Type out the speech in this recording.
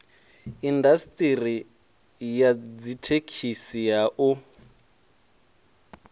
indasiṱeri ya dzithekhisi ha u